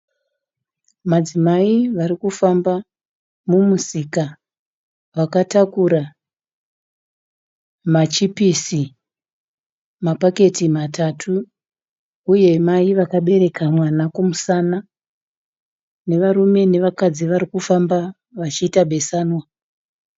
Madzimai varikufamba mumusika, vakataura machipisi mapaketi matatu uye mai vakabereka mwana kumusana, nevarume nevakadzi varikufamba vachiita besanwa.